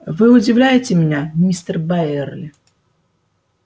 вы удивляете меня мистер байерли